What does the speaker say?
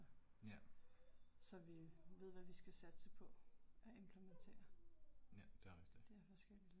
Ja. Ja det er rigtigt